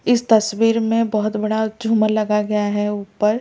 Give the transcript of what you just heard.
इस तस्वीर में बहुत बड़ा झूमर लगाया गया है ऊपर औ --